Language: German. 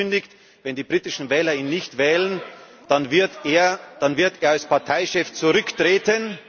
Er hat angekündigt, wenn die britischen Wähler ihn nicht wählen, dann wird er als Parteichef zurücktreten.